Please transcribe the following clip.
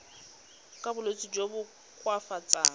ka bolwetsi jo bo koafatsang